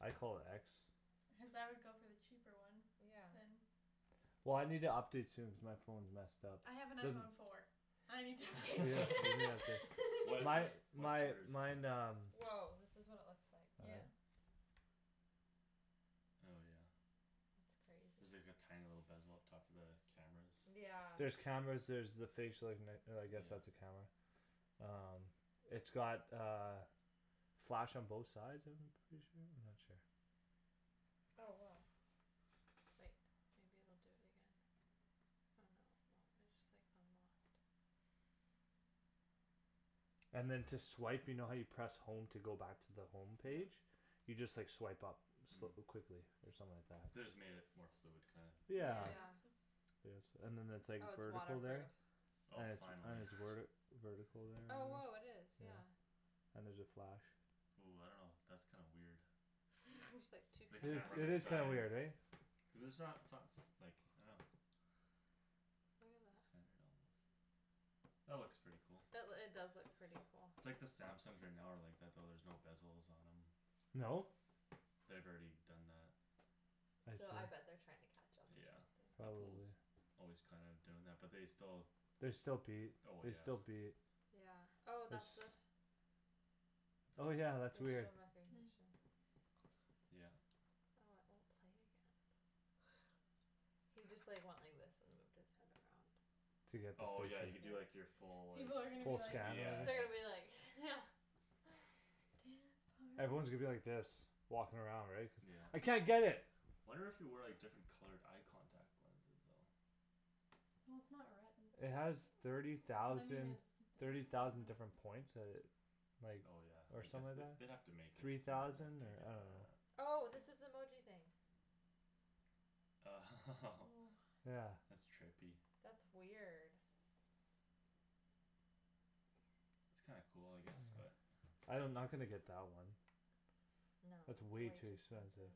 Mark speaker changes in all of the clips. Speaker 1: I call it x
Speaker 2: cuz I would go for the cheaper one
Speaker 3: yeah
Speaker 2: then
Speaker 1: well I need to update soon cuz my phone's messed up
Speaker 2: I have an
Speaker 1: there's
Speaker 2: iPhone four I need to update
Speaker 4: well
Speaker 2: soon
Speaker 1: my
Speaker 4: what what's
Speaker 1: my
Speaker 4: yours
Speaker 1: mine um
Speaker 3: woah this is what it looks like
Speaker 1: all
Speaker 2: yeah
Speaker 1: right
Speaker 4: oh yeah
Speaker 3: that's crazy
Speaker 4: there's like a tiny little bezel up top for the cameras
Speaker 3: yeah
Speaker 1: there's cameras there's the facial ignit- uh I guess that's
Speaker 4: yeah
Speaker 1: a camera um it's got uh flash on both sides of them I'm pretty sure I'm not sure
Speaker 3: oh woah wait maybe it'll do it again oh no it won't I just like unlocked
Speaker 1: and then to swipe you know how you press home to go back to the home
Speaker 4: yeah
Speaker 1: page you just like swipe up
Speaker 4: hm
Speaker 1: quickly or something like that
Speaker 4: they just made it more fluid kinda
Speaker 1: yeah
Speaker 2: yeah
Speaker 3: yeah
Speaker 1: yes and then that's like
Speaker 3: oh it's water
Speaker 1: vertical
Speaker 3: proof
Speaker 1: there
Speaker 4: oh
Speaker 1: and it's and
Speaker 4: finally
Speaker 1: it's werti vertical there
Speaker 3: oh
Speaker 1: and
Speaker 3: woah it is
Speaker 1: yeah
Speaker 3: yeah
Speaker 1: and there's a flash
Speaker 4: ooh I don't know that's kinda weird
Speaker 3: there's like two
Speaker 4: the
Speaker 1: it is
Speaker 4: camera on
Speaker 1: it
Speaker 4: the
Speaker 1: is
Speaker 3: cameras
Speaker 1: kinda
Speaker 4: side
Speaker 1: weird eh
Speaker 4: cuz its not so- s like I don't know
Speaker 3: look at that
Speaker 4: centered almost that looks pretty cool
Speaker 3: that loo- it does look pretty cool
Speaker 4: its like the Samsungs are now are like that though there's no bezels on them
Speaker 1: no?
Speaker 4: they've already done that
Speaker 1: I
Speaker 3: so I
Speaker 1: see
Speaker 3: bet they're trying to catch up or
Speaker 4: yeah
Speaker 3: something
Speaker 4: Apple's
Speaker 1: probably
Speaker 4: always kinda doing that but they still
Speaker 1: they still beat
Speaker 4: oh
Speaker 1: they
Speaker 4: yeah
Speaker 1: still beat
Speaker 3: yeah oh
Speaker 1: it's
Speaker 3: that's the
Speaker 1: oh yeah that's weird
Speaker 3: facial recognition
Speaker 4: yeah
Speaker 3: oh it won't play again he just like went like this and moved his head around
Speaker 1: to get
Speaker 4: oh yeah
Speaker 1: the
Speaker 4: you do like your full like
Speaker 2: people are gonna be
Speaker 1: full
Speaker 2: like
Speaker 1: scan or
Speaker 4: yeah
Speaker 3: they're
Speaker 4: yeah
Speaker 3: gonna
Speaker 1: whatever
Speaker 3: be like yeah dance party
Speaker 1: everyone's gonna be like this walking around right cuz I
Speaker 4: yeah
Speaker 1: can't get it
Speaker 4: wonder if you wear like different colored eye contact lenses though
Speaker 1: it has thirty thousand thirty thousand different points that it like
Speaker 4: oh yeah
Speaker 1: or
Speaker 4: I guess
Speaker 1: something like
Speaker 4: they
Speaker 1: that
Speaker 4: they'd have to make it
Speaker 1: three
Speaker 4: smarter
Speaker 1: thousand
Speaker 4: to
Speaker 1: or
Speaker 4: get
Speaker 1: I don't
Speaker 4: that
Speaker 1: know
Speaker 3: oh this is the emoji thing
Speaker 4: oh
Speaker 1: yeah
Speaker 4: that's trippy
Speaker 3: that's weird
Speaker 4: it's kinda cool I guess but
Speaker 1: I don- I'm not gonna get that one
Speaker 3: no it's
Speaker 1: it's
Speaker 3: way
Speaker 1: way too
Speaker 3: too
Speaker 1: expensive
Speaker 3: expensive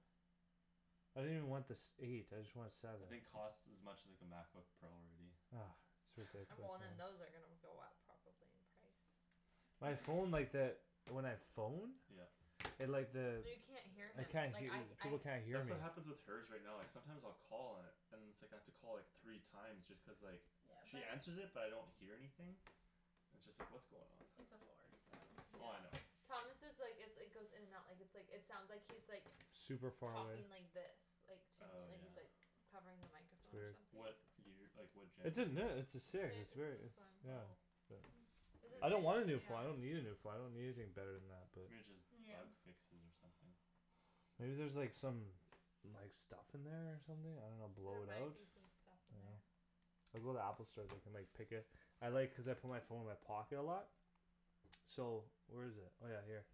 Speaker 1: I didn't even want the sev- eight I just want a seven
Speaker 4: I think costs as much as like a MacBook Pro already
Speaker 1: ah it's
Speaker 3: and
Speaker 1: ridiculous
Speaker 3: well
Speaker 1: man
Speaker 3: then those are gonna go up probably in price
Speaker 1: my phone like that when I phone
Speaker 4: yeah
Speaker 1: it like the
Speaker 3: you can't hear
Speaker 1: I
Speaker 3: him
Speaker 1: can't
Speaker 3: like
Speaker 1: hea-
Speaker 3: I
Speaker 1: people
Speaker 3: I
Speaker 1: can't hear
Speaker 4: that's
Speaker 1: me
Speaker 4: what happens with her's right now like sometimes I'll call and and it's like I have to call like three time just cuz like she answers it but I don't hear anything it's just like what's going on
Speaker 2: it's a four so
Speaker 4: oh I know
Speaker 3: yeah Thomas' like it its goes in and out like its like it sounds like he's
Speaker 1: super far away
Speaker 3: talking like this like to me
Speaker 4: oh
Speaker 3: like
Speaker 4: yeah
Speaker 3: he's like covering the
Speaker 1: it's
Speaker 3: microphone or
Speaker 1: weird
Speaker 3: something
Speaker 4: what year like what genera-
Speaker 1: its a ne- its
Speaker 3: its
Speaker 1: a
Speaker 3: h-
Speaker 1: six
Speaker 3: it's
Speaker 1: its very
Speaker 3: this
Speaker 1: its
Speaker 3: one
Speaker 1: yeah
Speaker 4: oh
Speaker 1: but
Speaker 2: hm
Speaker 1: I
Speaker 4: weir-
Speaker 1: don't wanna a new phone I don't
Speaker 3: yeah
Speaker 1: need a phone I don't need anything bette than that but
Speaker 4: maybe just
Speaker 2: yeah
Speaker 4: bug fixes or something
Speaker 1: maybe there's like some like some stuff in there or something I don't know blow
Speaker 3: there
Speaker 1: it out
Speaker 3: might be some stuff in
Speaker 1: I know
Speaker 3: there
Speaker 1: I'll go to the Apple store they can like pick it I like cuz I put my phone in my pocket a lot so where's it oh yeah here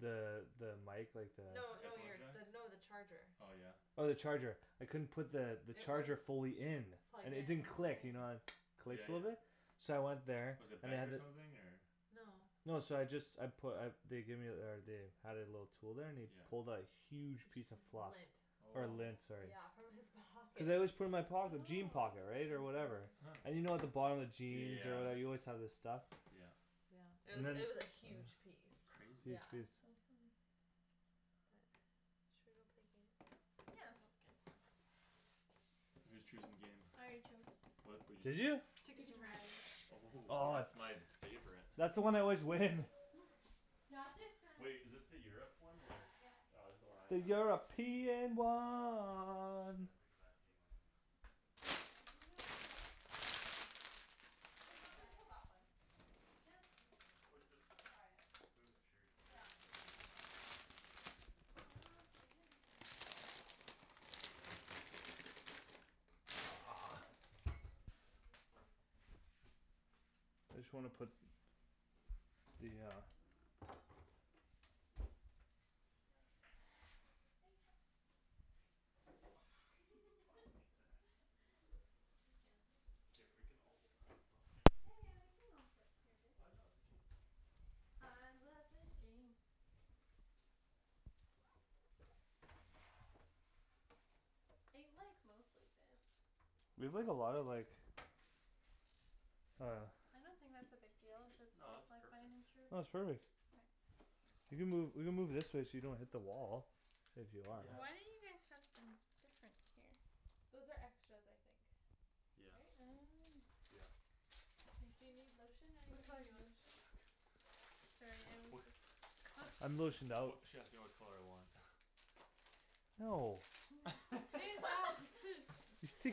Speaker 1: the the mic like the
Speaker 3: no no
Speaker 4: headphone
Speaker 3: you're
Speaker 4: jack
Speaker 3: no the charger
Speaker 4: oh yeah
Speaker 1: oh the charger I couldn't put the
Speaker 3: it
Speaker 1: charger
Speaker 3: wouldn't
Speaker 1: fully in
Speaker 3: plug
Speaker 1: and it
Speaker 3: in
Speaker 1: didn't click you know the it
Speaker 4: oh yeah
Speaker 1: clicks a little
Speaker 4: yeah
Speaker 1: bit so I went there
Speaker 4: was it
Speaker 1: and they
Speaker 4: bent
Speaker 1: had
Speaker 4: or
Speaker 1: th-
Speaker 4: something or
Speaker 3: no
Speaker 1: no so I just I put uh they gave ther- or they had it a little tool there and he
Speaker 4: yeah
Speaker 1: pulled a huge piece
Speaker 3: p-
Speaker 1: of fluff
Speaker 3: lint
Speaker 1: or lint
Speaker 4: oh
Speaker 1: sorry
Speaker 3: yeah from his pocket
Speaker 1: cuz I always put it in my
Speaker 2: oh
Speaker 1: pocket jean pocket right or
Speaker 2: interesting
Speaker 1: whatever
Speaker 4: huh
Speaker 1: and you know at the bottom of jeans or
Speaker 4: yeah
Speaker 1: whatever you always have this stuff
Speaker 4: yeah
Speaker 3: yeah it
Speaker 1: and
Speaker 3: was
Speaker 1: then
Speaker 3: it was a huge piece
Speaker 4: crazy
Speaker 3: yeah
Speaker 2: that's so funny
Speaker 3: but should we go play games now
Speaker 2: yeah that sounds good
Speaker 4: who's choosing game?
Speaker 2: I already chose
Speaker 4: what what'd you
Speaker 1: did you
Speaker 4: choose
Speaker 2: Ticket
Speaker 3: Ticket
Speaker 2: to
Speaker 3: to
Speaker 2: Ride
Speaker 3: Ride
Speaker 4: oh
Speaker 1: oh that's
Speaker 4: that's
Speaker 1: my
Speaker 4: my favorite
Speaker 1: that's the one I always win
Speaker 2: not this time
Speaker 4: wait is this the Europe one or
Speaker 2: yep
Speaker 4: ah this's the one I have yeah it's exact game I have
Speaker 2: do you think it'll fit on here?
Speaker 4: oh yeah
Speaker 3: if
Speaker 2: we'll
Speaker 3: not we
Speaker 2: try
Speaker 3: can
Speaker 2: it
Speaker 3: pull that one
Speaker 2: yeah it's true
Speaker 4: we cu- just
Speaker 3: we'll try it
Speaker 4: move this chair here
Speaker 3: yeah
Speaker 4: or
Speaker 3: we
Speaker 4: something
Speaker 3: can
Speaker 4: and then
Speaker 3: move that chair and then
Speaker 4: they'll be worse days than
Speaker 2: pumpkin
Speaker 1: ah I just wanna put the
Speaker 2: hi
Speaker 1: uh
Speaker 2: honey
Speaker 4: oh I don't have much space here
Speaker 2: I love you think fast
Speaker 4: you tossing me that
Speaker 3: it also makes my hands are so
Speaker 4: if we
Speaker 3: dry
Speaker 4: can all
Speaker 2: yeah yeah we can all fit here
Speaker 4: ah
Speaker 2: babe
Speaker 4: no it's okay
Speaker 2: I love this game it like mostly fits
Speaker 1: we played a lot of like uh
Speaker 2: I don't think that's a big deal if its
Speaker 4: no
Speaker 2: all
Speaker 4: it's perfect
Speaker 1: no its perfect you can move you can move this way so you don't hit the wall if you want
Speaker 2: why
Speaker 4: yeah
Speaker 2: don't you guys tucked in different here
Speaker 3: those are extras I think
Speaker 4: yeah
Speaker 3: right
Speaker 2: oh
Speaker 4: yeah
Speaker 2: makes
Speaker 3: do you need
Speaker 2: sense
Speaker 3: lotion
Speaker 2: which
Speaker 3: anybody
Speaker 2: color do you
Speaker 3: need
Speaker 2: want?
Speaker 3: lotion?
Speaker 4: uch
Speaker 2: sorry I'm
Speaker 4: wha-
Speaker 2: just
Speaker 1: I'm lotioned
Speaker 4: wh-
Speaker 1: out
Speaker 4: what she asked me what color I want
Speaker 1: no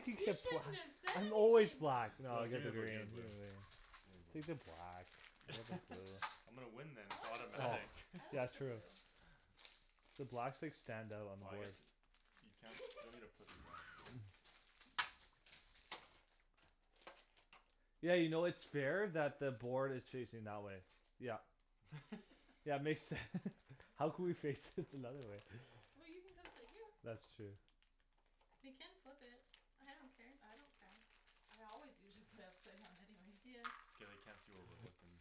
Speaker 2: you shouldn't have said
Speaker 1: I'm always
Speaker 2: anything
Speaker 1: black naw I
Speaker 4: you
Speaker 1: got
Speaker 4: gimme
Speaker 1: the
Speaker 4: the blue
Speaker 1: green
Speaker 4: gimme the blue
Speaker 1: take the black I'll take blue
Speaker 4: I'm gonna win this
Speaker 3: I
Speaker 4: it's
Speaker 3: like the blue
Speaker 4: automatic
Speaker 1: oh
Speaker 3: I
Speaker 1: yeah
Speaker 3: like the
Speaker 1: true
Speaker 3: blue
Speaker 1: the blacks like stand out on
Speaker 4: ah
Speaker 1: the
Speaker 4: I
Speaker 1: board
Speaker 4: guess you can- you don't need to put these on there don't worry
Speaker 1: yeah you know its fair that the board is facing that way yup yeah makes sense How could we fix it another way
Speaker 3: well you can come sit here
Speaker 1: that's true
Speaker 2: we can flip it I don't care
Speaker 3: I don't care I always usually play upside down anyways
Speaker 2: yeah
Speaker 4: it's okay they can't see where we're looking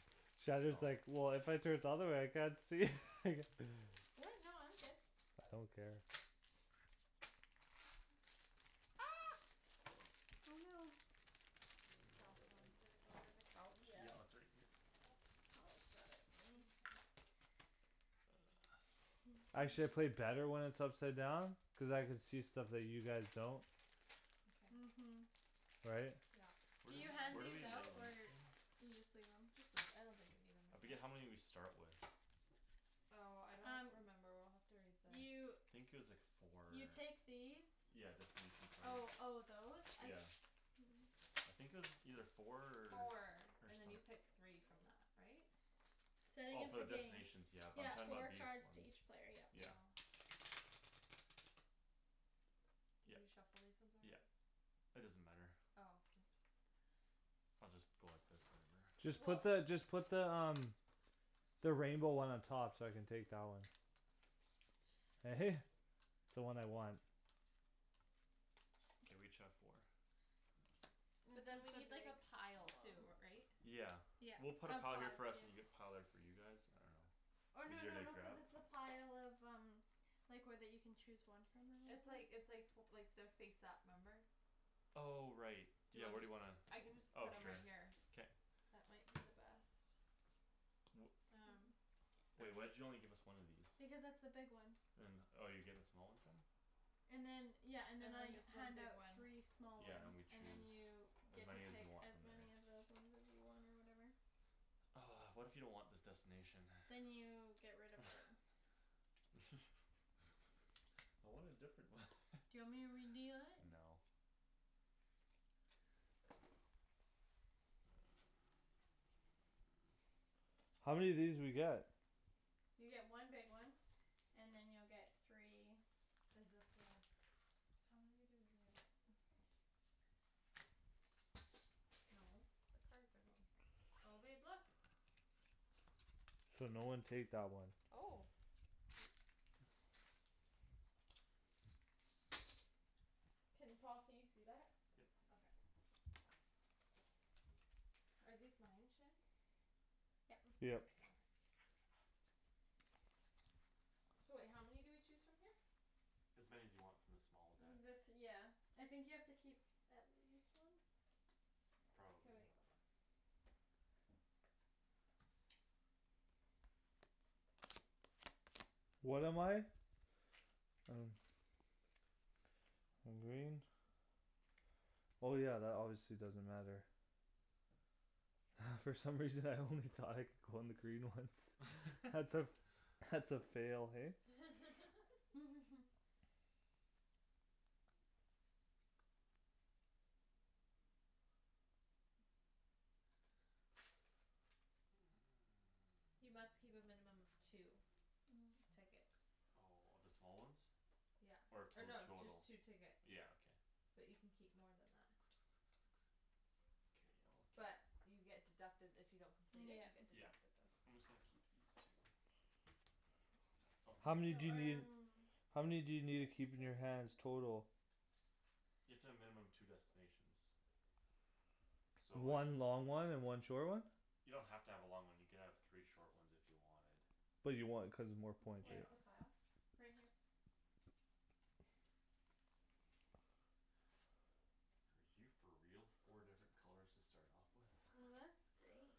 Speaker 1: Shandryn is like well if I turn it the other way I can't see
Speaker 2: what no I'm good
Speaker 1: I don't care
Speaker 3: ah
Speaker 2: oh no
Speaker 4: oh I
Speaker 3: I
Speaker 4: don't
Speaker 3: dropped
Speaker 4: know where it
Speaker 3: one
Speaker 4: went
Speaker 3: did it go under the couch
Speaker 4: yeah it's
Speaker 2: yeah
Speaker 4: right here
Speaker 2: Paul's got it right
Speaker 1: Actually I play better when it's upside down cuz I could see stuff that you guys don't
Speaker 2: uh-
Speaker 3: okay
Speaker 2: hm
Speaker 1: right
Speaker 3: yeah
Speaker 4: where
Speaker 2: can you
Speaker 4: d-
Speaker 2: hand
Speaker 4: where do
Speaker 2: these
Speaker 4: we lay
Speaker 2: out
Speaker 4: these
Speaker 2: or
Speaker 4: again
Speaker 2: you just leave them
Speaker 3: just leave I don't think we need them
Speaker 4: I
Speaker 3: right
Speaker 4: forget how
Speaker 3: now
Speaker 4: many we start with
Speaker 3: oh I don't
Speaker 2: um
Speaker 3: remember we'll have to read
Speaker 2: you
Speaker 4: I
Speaker 3: the
Speaker 4: think it was like four or
Speaker 2: you take these
Speaker 4: yeah destination
Speaker 2: oh
Speaker 4: cards
Speaker 2: oh those I
Speaker 4: yeah
Speaker 2: se-
Speaker 4: I think it was either four
Speaker 3: four
Speaker 4: or
Speaker 3: and then
Speaker 4: some-
Speaker 3: you pick three from that right?
Speaker 2: starting
Speaker 4: oh
Speaker 2: of
Speaker 4: for
Speaker 2: the
Speaker 4: the
Speaker 2: game
Speaker 4: destination yeah but I'm
Speaker 2: yeah
Speaker 4: talking
Speaker 2: four
Speaker 4: about these
Speaker 2: cards to
Speaker 4: ones
Speaker 2: each player yep
Speaker 4: yeah
Speaker 3: oh did
Speaker 4: yep
Speaker 3: you shuffle these ones
Speaker 4: yep
Speaker 3: already?
Speaker 4: it doesn't matter
Speaker 3: oh oops
Speaker 4: I'll just go like this whatever
Speaker 1: just put
Speaker 3: weh
Speaker 1: the just put the um the rainbow one on top so I can take that one eh the one I want
Speaker 4: okay we each have four
Speaker 3: but then
Speaker 2: this
Speaker 3: we need like
Speaker 2: is
Speaker 3: a
Speaker 2: the
Speaker 3: pile too
Speaker 2: big
Speaker 3: ri- right
Speaker 2: one
Speaker 4: yeah we'll put a
Speaker 2: oh
Speaker 4: pile
Speaker 2: five
Speaker 4: here for us and you have
Speaker 2: yeah
Speaker 4: a pile there for you guys I don't know
Speaker 2: or no
Speaker 4: easier
Speaker 2: no
Speaker 4: to
Speaker 2: no cuz
Speaker 4: grab
Speaker 2: it's the pile of um like where that you can chose one from or
Speaker 3: it's
Speaker 2: whatever
Speaker 3: like it's like fo like their face up remember
Speaker 4: oh right
Speaker 3: do you
Speaker 4: yeah where do
Speaker 3: underst-
Speaker 4: you wanna
Speaker 3: I can just
Speaker 4: oh
Speaker 3: put them right
Speaker 4: sure
Speaker 3: here
Speaker 4: k
Speaker 3: that might be the best
Speaker 4: wh-
Speaker 2: um
Speaker 3: are
Speaker 4: wait why'd
Speaker 3: these
Speaker 4: you only give us one of these
Speaker 2: because that's the big one
Speaker 4: and oh you're getting the small ones then
Speaker 2: and then yeah and then I
Speaker 3: everyone gets one
Speaker 2: hand
Speaker 3: big
Speaker 2: out
Speaker 3: one
Speaker 2: three small
Speaker 4: yeah and than
Speaker 2: ones
Speaker 4: we
Speaker 2: and then
Speaker 4: choose
Speaker 2: you
Speaker 4: as
Speaker 2: get to
Speaker 4: many as we
Speaker 2: pick
Speaker 4: want
Speaker 2: as
Speaker 4: from there
Speaker 2: many of those ones as you want or whatever
Speaker 4: what if you don't want this destination
Speaker 2: then you get rid of it
Speaker 4: I want a different one
Speaker 2: do you want me to redeal it?
Speaker 4: no
Speaker 1: how many of these do we get?
Speaker 2: you get one big one and then you'll get three
Speaker 3: is this the how many do we do no the cards are going here oh babe look
Speaker 1: so no one take that one
Speaker 3: oh can Paul can you see that?
Speaker 4: yep
Speaker 3: okay are these mine Shans
Speaker 2: yep
Speaker 1: yep
Speaker 3: okay so wait how many do we choose from here?
Speaker 4: as many as you want from the small deck
Speaker 2: the th- yeah I think you have to keep at least one
Speaker 3: k
Speaker 4: probably
Speaker 3: wait
Speaker 1: what am I? I don't I'm green oh yeah that obviously doesn't matter from some reason I only thought I could go on the green ones that's a that's a fail hey
Speaker 3: you must keep a minimum of two
Speaker 2: oh
Speaker 3: tickets
Speaker 4: oh of the small ones
Speaker 3: yeah
Speaker 4: or
Speaker 3: or
Speaker 4: two
Speaker 3: no just
Speaker 4: total
Speaker 3: two tickets
Speaker 4: yeah okay
Speaker 3: but you can keep more than that
Speaker 4: k I'll keep
Speaker 3: but you get deducted if you don't complete it you
Speaker 2: yeah
Speaker 3: get
Speaker 4: yeah
Speaker 3: deducted those
Speaker 4: I'm
Speaker 3: points
Speaker 4: just gonna keep these two oh
Speaker 1: how
Speaker 4: here
Speaker 2: oh
Speaker 1: many do you need
Speaker 2: um
Speaker 1: how many do you need to keep in your hands total?
Speaker 4: you have to have a minimum two destinations so like
Speaker 1: one long one and one short one
Speaker 4: you don't have to have a long one you can have three short ones if you wanted
Speaker 1: but you want it cuz its more points
Speaker 3: where's
Speaker 4: yeah
Speaker 3: the pile?
Speaker 2: right here
Speaker 4: are you for real four different colors to start off with
Speaker 2: well that's great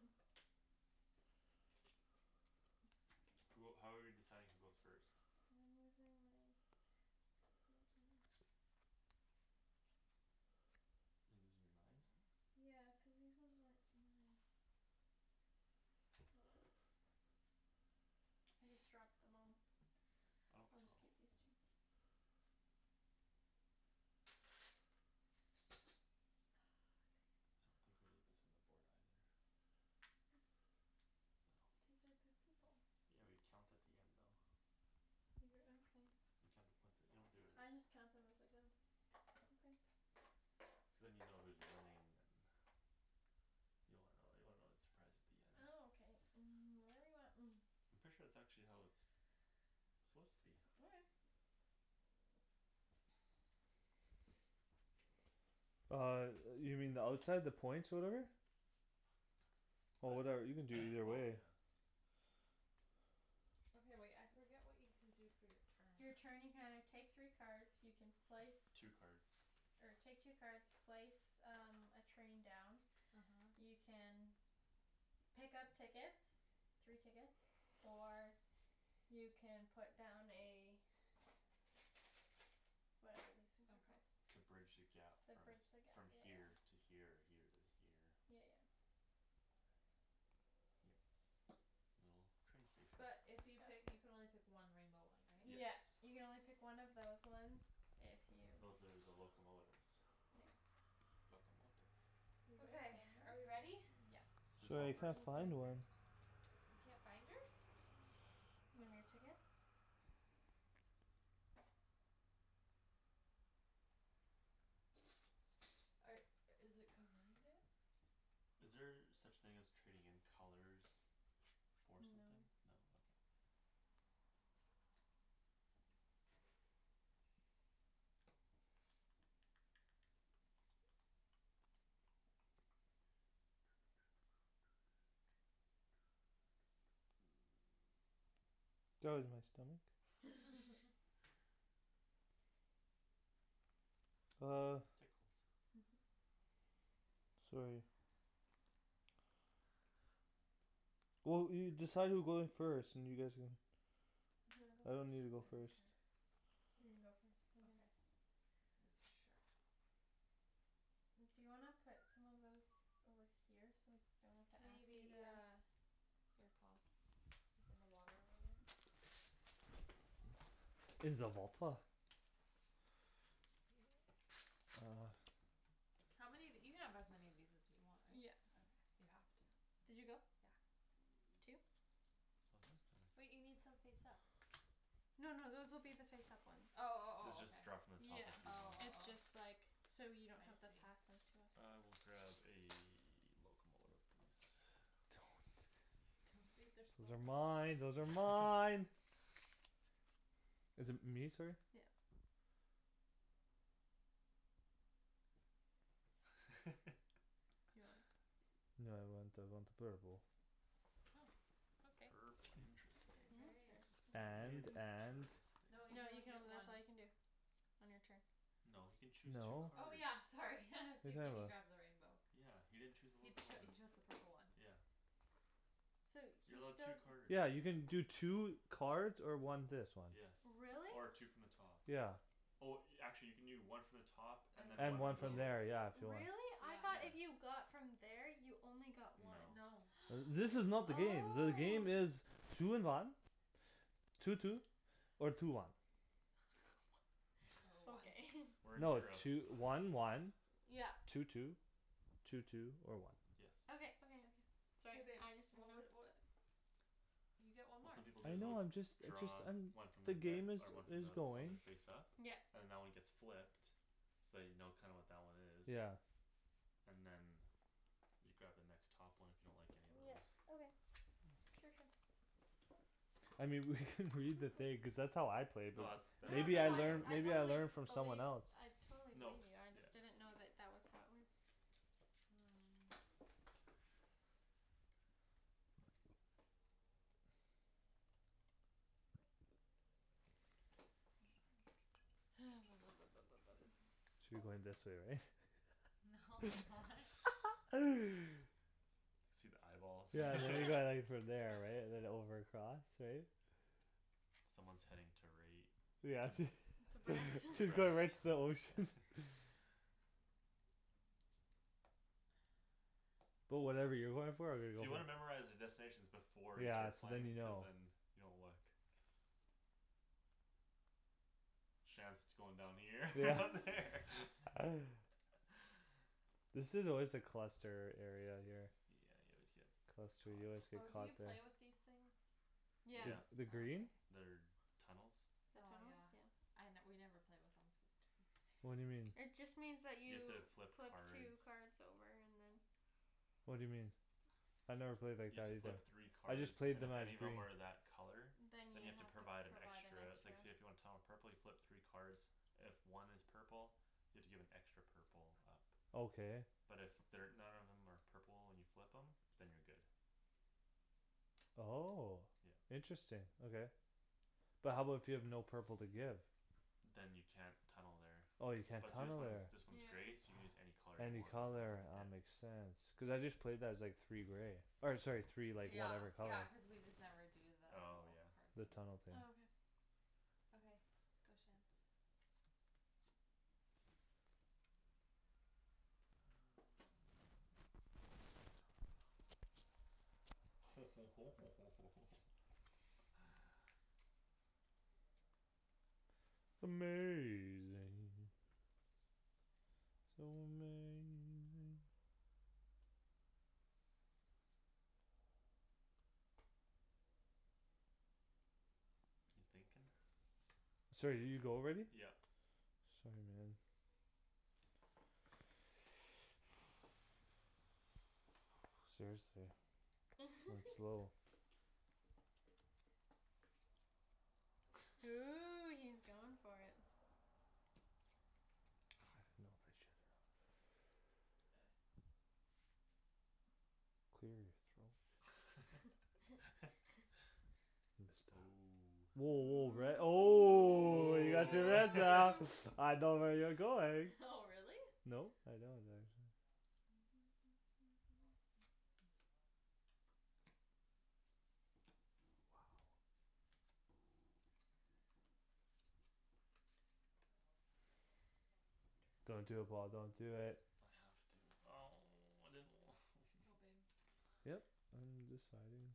Speaker 1: who how are we deciding who goes first
Speaker 2: I'm losing my
Speaker 4: are you losing your mind
Speaker 2: yeah cuz these ones weren't mine oh well I just dropped them all
Speaker 4: I don't
Speaker 2: I'll just
Speaker 4: oh
Speaker 2: keep these two ah dang
Speaker 4: I don't think
Speaker 2: it
Speaker 4: we need this on the board either
Speaker 2: this
Speaker 4: no
Speaker 2: these are the people
Speaker 4: yeah we count at the end though
Speaker 2: you're
Speaker 4: you count the points at you don't do it
Speaker 2: I just count them as I go okay
Speaker 4: cuz than you know who's winning and you don't wanna know you wanna know the surprise at the end
Speaker 2: ah ok um whatever you want
Speaker 4: I'm pretty sure that's actually how it suppose to be
Speaker 2: okay
Speaker 1: uh yo- you mean the outside the points whatever oh
Speaker 4: what
Speaker 1: whatever you can do either
Speaker 4: oh
Speaker 1: way
Speaker 4: yeah
Speaker 3: okay wait I forget what you can do for your
Speaker 2: you're
Speaker 3: turn
Speaker 2: turn you can either take three cards you can place
Speaker 4: two cards
Speaker 2: or take two cards place um a train down
Speaker 3: uh-huh
Speaker 2: you can pick up tickets three tickets or you can put down a whatever these things are
Speaker 3: okay
Speaker 2: called
Speaker 4: to bridge the gap
Speaker 2: the
Speaker 4: from
Speaker 2: bridge the gap
Speaker 4: from
Speaker 2: yeah yeah
Speaker 4: here to here or here to here
Speaker 2: yeah yeah
Speaker 4: yeah a little train station
Speaker 3: but if you pick you can only pick one rainbow one right?
Speaker 4: yes
Speaker 2: yeah you can only pick one of those ones if you
Speaker 4: those are the locomotives
Speaker 2: yes
Speaker 4: locomotive
Speaker 3: okay are we ready
Speaker 2: locomotive yes
Speaker 4: who's going
Speaker 2: who's
Speaker 1: I
Speaker 4: first
Speaker 1: can't
Speaker 2: going
Speaker 1: find
Speaker 2: first?
Speaker 1: one
Speaker 3: you can't find yours? are i- is it behind it?
Speaker 4: is there such thing as trading in colors? for something
Speaker 2: no
Speaker 4: no okay
Speaker 1: that was my stomach oh
Speaker 4: tickles
Speaker 1: sorry well you decide who goes first and you guys can
Speaker 2: do you
Speaker 1: I don't need to
Speaker 2: wanna go
Speaker 1: go
Speaker 3: I
Speaker 2: first
Speaker 3: don't
Speaker 1: first
Speaker 3: care
Speaker 2: you can go first
Speaker 3: okay sure
Speaker 2: do you wanna put some of those over here so we don't have to
Speaker 3: maybe
Speaker 2: ask you
Speaker 3: yeah
Speaker 2: to
Speaker 3: here Paul like in the water over there
Speaker 1: uh
Speaker 3: how many of you can have as many of these as you want
Speaker 2: yeah
Speaker 3: right you have to
Speaker 2: did you go
Speaker 3: yeah
Speaker 2: two
Speaker 3: wait you need some face up
Speaker 2: no no those will be the face up ones
Speaker 3: oh oh
Speaker 4: you
Speaker 3: oh okay
Speaker 4: just draw from the top
Speaker 2: yeah
Speaker 4: if you wan-
Speaker 3: oh
Speaker 2: it's
Speaker 3: oh
Speaker 2: just
Speaker 3: oh
Speaker 2: like so you
Speaker 3: I
Speaker 2: don't have to
Speaker 3: see
Speaker 2: pass them to us
Speaker 4: I will grab a locomotive please
Speaker 1: those are mine those are mine is it me sorry?
Speaker 2: yeah you want
Speaker 1: no I want I want purple
Speaker 4: purple interesting
Speaker 2: interesting
Speaker 1: and and
Speaker 2: no
Speaker 3: no
Speaker 4: interesting
Speaker 3: you can
Speaker 2: you
Speaker 3: only
Speaker 2: can
Speaker 3: get
Speaker 2: only that's
Speaker 3: one
Speaker 2: all you can do on your turn
Speaker 4: no he can choose two
Speaker 1: no
Speaker 3: oh
Speaker 4: cards
Speaker 3: yeah sorry
Speaker 1: what you
Speaker 3: see
Speaker 1: talking
Speaker 3: can you
Speaker 1: about
Speaker 3: grab the rainbow
Speaker 4: yeah he didn't chose a
Speaker 3: He cho- he
Speaker 4: locomotive
Speaker 3: chose the purple one
Speaker 4: yeah
Speaker 2: so he's
Speaker 4: you're
Speaker 2: still
Speaker 4: allowed two cards
Speaker 1: yeah you can do two cards or one this one
Speaker 4: yes
Speaker 2: really?
Speaker 4: or two from the top
Speaker 1: yeah
Speaker 4: oh actually you can do one from the top and
Speaker 3: and
Speaker 4: than
Speaker 3: one
Speaker 1: and
Speaker 4: one
Speaker 1: one
Speaker 3: from
Speaker 4: from
Speaker 1: from
Speaker 4: those
Speaker 3: here
Speaker 1: there yeah if you want
Speaker 2: really? I though if
Speaker 3: yeah
Speaker 4: yeah
Speaker 2: you got from there you only got
Speaker 4: no
Speaker 2: one
Speaker 3: no
Speaker 1: uh this is not the game the
Speaker 2: oh
Speaker 1: game is two in one two two or two one
Speaker 3: or one
Speaker 2: okay
Speaker 4: we're in
Speaker 1: no
Speaker 4: Europe
Speaker 1: two- one one
Speaker 2: yeah
Speaker 1: two two two two or one
Speaker 4: yes
Speaker 2: okay okay okay
Speaker 3: hey
Speaker 2: sorry
Speaker 3: babe
Speaker 2: I just didn't
Speaker 3: what
Speaker 2: know
Speaker 3: wou- what you get one
Speaker 4: what
Speaker 3: more
Speaker 4: some people do
Speaker 1: I
Speaker 4: is they'll
Speaker 1: know I'm just a just
Speaker 4: draw
Speaker 1: I'm
Speaker 4: one from the
Speaker 1: the
Speaker 4: deck
Speaker 1: game is
Speaker 4: or one from
Speaker 1: is
Speaker 4: the one
Speaker 1: going
Speaker 4: the face up
Speaker 2: yep
Speaker 4: and that one gets flipped so you know kinda what that one is
Speaker 1: yeah
Speaker 4: and then you grab the next top one if you don't like any of
Speaker 2: yeah
Speaker 4: those
Speaker 2: okay sure sure
Speaker 1: I mean we could read the thing cuz that's how I played it
Speaker 4: no that's
Speaker 2: no
Speaker 4: that i-
Speaker 1: maybe
Speaker 2: no
Speaker 1: I
Speaker 2: no
Speaker 4: that
Speaker 2: I
Speaker 4: is
Speaker 1: learn
Speaker 2: I
Speaker 1: maybe
Speaker 4: how
Speaker 1: I
Speaker 2: totally believe I
Speaker 1: learned from someone else
Speaker 2: totally
Speaker 4: no
Speaker 2: believe
Speaker 4: cuz
Speaker 2: you I
Speaker 4: yeah
Speaker 2: just didn't know that that was how it works
Speaker 3: um hang on
Speaker 2: ha
Speaker 1: should be going this way right?
Speaker 3: no why
Speaker 4: see the eyeballs
Speaker 1: yeah there you go from there right and then over across right
Speaker 4: someone's heading to right
Speaker 1: yeah
Speaker 4: to
Speaker 1: she she's going right to the ocean but whatever you're going for I'm gonna
Speaker 4: so
Speaker 1: go
Speaker 4: you wanna memorize
Speaker 1: for
Speaker 4: the destinations before you
Speaker 1: yeah
Speaker 4: start
Speaker 1: so then
Speaker 4: playing
Speaker 1: you
Speaker 4: cuz
Speaker 1: know
Speaker 4: then you don't look Shands going down here
Speaker 1: yeah
Speaker 4: over there
Speaker 1: this is always a cluster area here
Speaker 4: yeah you always get
Speaker 1: cluster
Speaker 4: caught
Speaker 1: you always
Speaker 4: up
Speaker 1: get
Speaker 3: oh do
Speaker 1: caught
Speaker 3: you
Speaker 1: there
Speaker 3: play with these things?
Speaker 1: the
Speaker 4: yeah
Speaker 2: yeah
Speaker 1: the
Speaker 3: oh
Speaker 1: green
Speaker 3: okay
Speaker 4: they're tunnels
Speaker 2: the
Speaker 3: oh yeah
Speaker 2: tunnels yeah
Speaker 3: I we never play with them cuz it's too time
Speaker 1: what'd you mean
Speaker 3: consuming
Speaker 2: it just means that
Speaker 4: you have
Speaker 2: you
Speaker 4: to flip
Speaker 2: flip
Speaker 4: cards
Speaker 2: two card over and then
Speaker 1: what'd you mean I never played like
Speaker 4: you have
Speaker 1: that
Speaker 4: to
Speaker 1: either
Speaker 4: flip three
Speaker 1: I
Speaker 4: cards
Speaker 1: just played
Speaker 4: and
Speaker 1: them
Speaker 4: if
Speaker 1: as
Speaker 4: any of
Speaker 1: green
Speaker 4: them are that color
Speaker 2: then you
Speaker 4: than you
Speaker 2: have
Speaker 4: have to
Speaker 2: to provide
Speaker 4: provide an extra like
Speaker 2: an
Speaker 4: say
Speaker 2: extra
Speaker 4: if you want Tom a purple you flip three cards if one is purple you have to give an extra purple up
Speaker 1: okay
Speaker 4: but if they're none of them are purple and you flip them than you're good
Speaker 1: oh
Speaker 4: yeah
Speaker 1: interesting okay but how about if you have no purple to give
Speaker 4: than you can't tunnel there
Speaker 1: oh you can't
Speaker 4: but see this
Speaker 1: tunnel
Speaker 4: one's
Speaker 1: there
Speaker 4: this one's
Speaker 2: yeah
Speaker 4: gray so you can use any color you
Speaker 1: any
Speaker 4: want
Speaker 1: color
Speaker 4: yeah
Speaker 1: ah makes sense cuz I just played that as like three gray or sorry three like
Speaker 3: yeah
Speaker 1: whatever color
Speaker 3: yeah cuz we just never do the
Speaker 4: oh
Speaker 3: whole
Speaker 4: yeah
Speaker 3: card
Speaker 1: the
Speaker 3: thing
Speaker 1: tunnel thing
Speaker 2: oh okay
Speaker 3: okay go Shands
Speaker 4: um lets go on top ho ho ho ho ho ho ho
Speaker 1: amazing so amazing
Speaker 4: you thinking
Speaker 1: sorry did you go already
Speaker 4: yeah
Speaker 1: sorry man seriously I'm slow
Speaker 2: ooh he's going for it
Speaker 1: I don't know if I should or not clear your throat
Speaker 4: oh
Speaker 1: woah woah red oh
Speaker 4: oh
Speaker 2: ooh
Speaker 1: I know where you're going
Speaker 3: oh really
Speaker 1: no I don't actually don't do it Paul don't do it
Speaker 4: I have to oh I didn't wa-
Speaker 3: go babe
Speaker 1: yup I'm deciding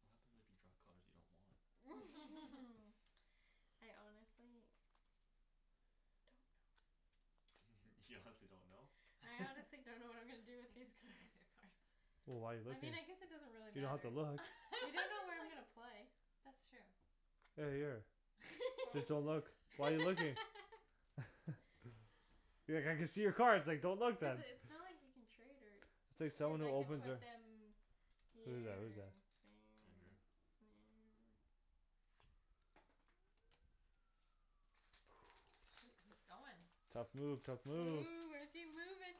Speaker 4: what happens if you draw colors you don't want
Speaker 2: I honestly don't know
Speaker 4: you honestly don't know
Speaker 2: I honestly don't know what I'm gonna do
Speaker 3: I can
Speaker 2: with these
Speaker 3: see all
Speaker 2: cards
Speaker 3: your card
Speaker 1: wh- why you looking you don't have to look
Speaker 2: you don't know where I'm gonna play
Speaker 3: that's true
Speaker 1: hey here
Speaker 3: fo-
Speaker 1: just don't look why you looking be like I can see your cards like don't look
Speaker 2: cuz
Speaker 1: then
Speaker 2: it's not like you can trade her
Speaker 1: it's like
Speaker 2: cuz
Speaker 1: someone who
Speaker 2: I can
Speaker 1: opens
Speaker 2: put
Speaker 1: their
Speaker 3: no
Speaker 2: them
Speaker 1: who's
Speaker 2: here
Speaker 1: that
Speaker 2: or
Speaker 1: who's that
Speaker 2: there
Speaker 4: I drew
Speaker 2: or there
Speaker 3: shoot he's going
Speaker 1: tough move tough move
Speaker 2: ooh where's he moving